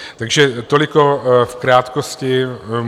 Takže toliko v krátkosti.